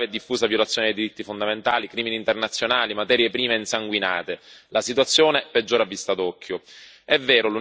Abbiamo regioni vastissime sotto il controllo dei mercenari armati, una grave e diffusa violazione dei diritti fondamentali, crimini internazionali, materie prime insanguinate.